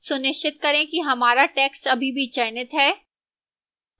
सुनिश्चित करें कि हमारा text अभी भी चयनित है